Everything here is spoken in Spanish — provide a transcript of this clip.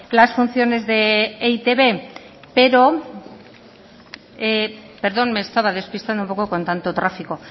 las funciones de e i te be pero perdón me estaba despistando un poco con tanto tráfico